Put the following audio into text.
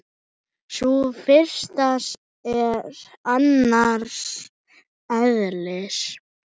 Sú fyrsta er annars eðlis.